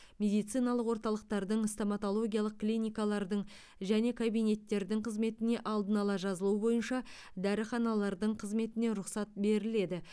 медициналық орталықтардың стоматологиялық клиникалардың және кабинеттердің қызметіне алдын ала жазылу бойынша дәріханалардың қызметіне рұқсат беріледі